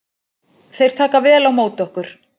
Þeir taka vel á móti okkur